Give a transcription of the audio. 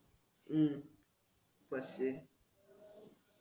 हम्म पाचशे